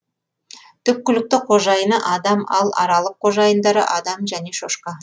түпкілікті қожайыны адам ал аралық қожайындары адам және шошқа